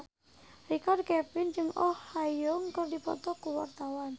Richard Kevin jeung Oh Ha Young keur dipoto ku wartawan